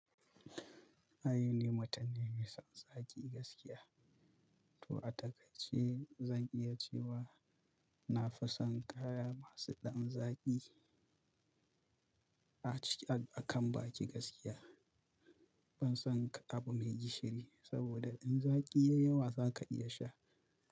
Ai ni mutun ne mai son zaƙi gaskiya. To a takaice zan iya cewa na fi son kaya masu ɗan zaƙi akan baƙi gaskiya. Ban son k abu mai gishiri saboda in zaƙi yayi yawa zaka iya sha.